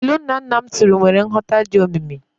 Ilu nnanna m tụrụ nwere nghọta dị omimi.